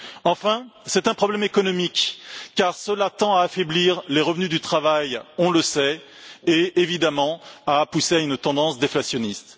Enfin, c'est un problème économique, car il tend à affaiblir les revenus du travail, on le sait, et évidemment à pousser à une tendance déflationniste.